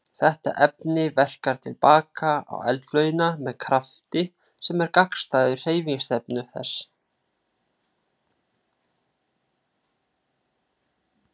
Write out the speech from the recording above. Þetta efni verkar til baka á eldflaugina með krafti sem er gagnstæður hreyfingarstefnu þess.